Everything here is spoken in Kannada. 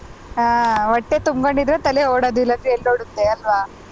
ಹ ಹೊಟ್ಟೆ ತುಂಬ್ಕೊಂಡಿದ್ರೆ ತಲೆ ಓಡದು ಇಲ್ಲಾಂದ್ರೆ ಎಲ್ಲ್ ಓಡುತ್ತೇ ಅಲ್ವಾ.